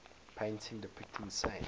paintings depicting saints